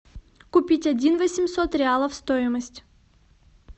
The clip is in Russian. купить один восемьсот реалов стоимость